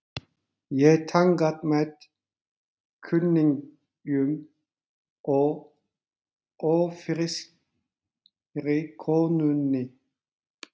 Ég þangað með kunningjum og ófrískri konunni.